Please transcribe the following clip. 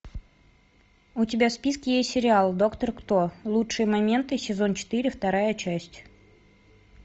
у тебя в списке есть сериал доктор кто лучшие моменты сезон четыре вторая часть